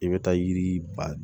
I bɛ taa yiri ba